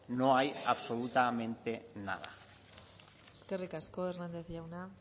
no hay absolutamente nada eskerrik asko hernández jauna